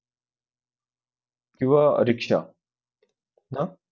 किंवा रिक्षा हा.